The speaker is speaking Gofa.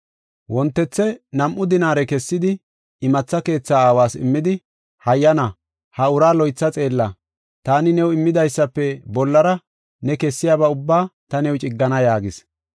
Wontethe nam7u dinaare kessidi imatha keetha aawas immidi, ‘Hayyana ha uraa loytha xeella. Taani new immidaysafe bollara ne kessiyaba ubbaa ta new ciggana’ yaagis.